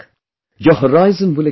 Your horizon will expand